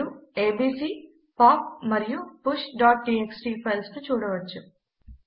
మీరు ABC pop మరియు pushటీఎక్స్టీ ఫైల్స్ ను చూడవచ్చు